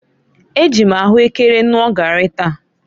Eji m ahuekere ṅụọ garri taa.